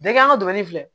Bɛɛ kɛ an ka dumuni filɛ